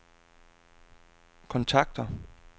kontakter